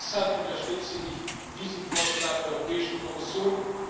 Deshalb unterstütze ich diesen Vorschlag der Europäischen Kommission.